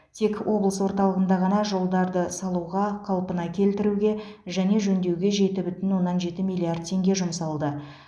тек облыс орталығында ғана жолдарды салуға қалпына келтіруге және жөндеуге жеті бүтін оннан жеті миллиард теңге жұмсалды